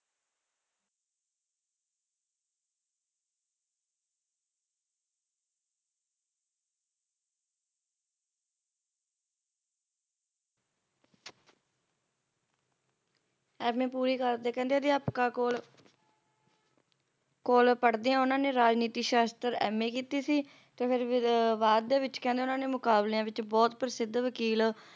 M. A ਪੂਰੀ ਕਰਦੇ ਕਹਿੰਦੇ ਅਧਿਆਪਕਾਂ ਕੋਲ ਪੜ੍ਹਦਿਆਂ ਉਹਨਾਂ ਨੇ ਰਾਜਨੀਤੀ ਸ਼ਸਤਰ M. A ਕੀਤੀ ਸੀ ਤੇ ਫਿਰ ਫਿਰ ਬਾਅਦ ਦੇ ਵਿੱਚ ਕਹਿੰਦੇ ਉਹਨਾਂ ਨੇ ਮੁਕਾਬਲਿਆਂ ਵਿੱਚ ਬਹੁਤ ਪ੍ਰਸਿੱਧ ਵਕੀਲ